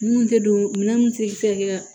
Mun tɛ don minɛn mun tɛ se ka kɛ